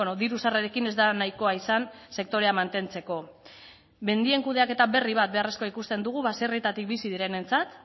diru sarrerekin ez da nahikoa izan sektorea mantentzeko mendien kudeaketa berri bat beharrezkoa ikusten dugu baserrietatik bizi direnentzat